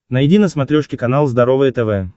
найди на смотрешке канал здоровое тв